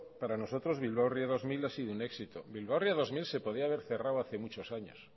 para nosotros bilbao ría dos mil ha sido un éxito bilbao ría dos mil se podía haber cerrado hace muchos años